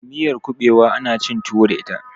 miyar kubewa ana cin tuwo da ita